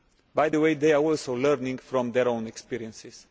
By the way, they are also learning from their own experiences.